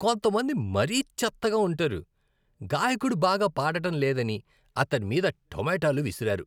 కొంతమంది మరీ చెత్తగా ఉంటారు. గాయకుడు బాగా పాడటం లేదని అతడి మీద టమోటాలు విసిరారు.